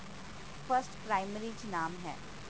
first primary ਚ ਨਾਮ ਹੈ